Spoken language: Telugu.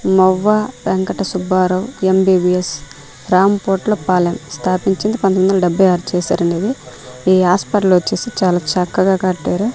నొవ్వా వెంకట సుబ్బారావు ఎం_బీ_బీ_ఎస్ రామ్ పొట్ల పాలెం స్థాపించింది పంతొమ్మిది వందల డెబ్బై ఆరు చేశారండి ఇది ఈ హాస్పిటల్ వచ్చేసి చాలా చక్కగా కట్టారు.